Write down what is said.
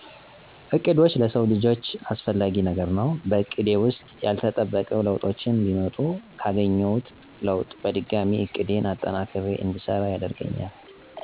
እቅዶች ለሰው ልጀ አሰፍላጊ ነገር ነው በእቀዴ ውሰጥ ያለተጠበቆ ለውጡች ቢመጡ ካገኝውት ለውጥ በድጋሚ እቅዴን አጠናክሪ እድሰራ ያደርገኛል።